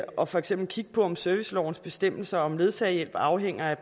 og for eksempel kigge på om servicelovens bestemmelser om ledsagehjælp afhænger af